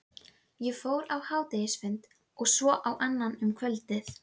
Ég fór á hádegisfund, og svo á annan um kvöldið.